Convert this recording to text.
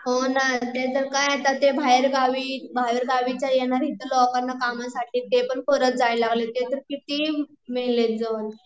हो ना ते तर की आता ते बाहेरगावी, बाहेरगावी च्या लोकांना इथे कामासाठी ते पण परत जायला लागले, ते तर किती मेले